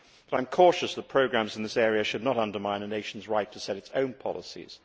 I am cautious, however, that programmes in this area should not undermine a nation's right to set its own policies.